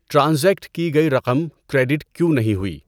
Transact کی گئی رقم کریدٹ کیوں نہیں ہوئی؟